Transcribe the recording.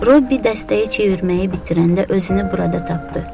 Robbi dəstəyi çevirməyi bitirəndə özünü burada tapdı.